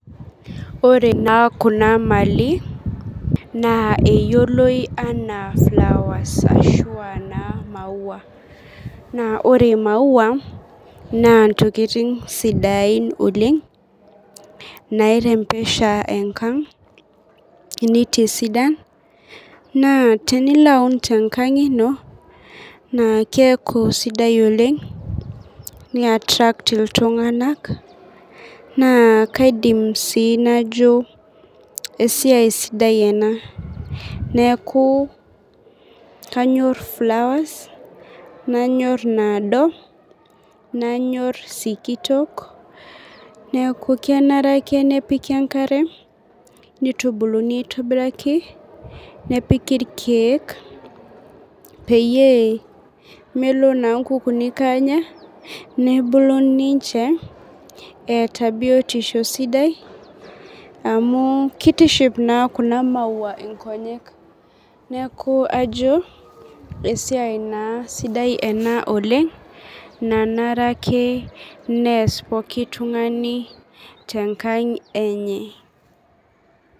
Ore naa kuna mali naa eyioloi enaa flowers ashu anaa maua, naa ore imaua naa intokitin sidain oleng',nairembesha enkang' nitisidan, naa tenilo aun tengank' ino naa keeku sidai oleng' nia attrack iltunganak naa kaidim sii najo esiai sidai ena. Neeku kanyorr flowers, nanyorr inaado, nanyorr isikitok neeku kenare ake nepiki enkare nitubuluni aitobiraki, nepiki ilkeek peyie melo naa inkuukunik aanya, nebulu ninje eyata biotisho sidai amu kitiship naa kuna maua ingonyek, neeku ajo esiai naa sidai ena oleng' nanare ake neas pooki tungani tenkang' enye.